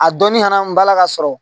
A dɔnnin ɲɛna n balaka sɔrɔ